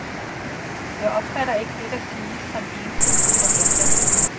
Jeg opfatter ikke det, der siges, som ensidig propaganda.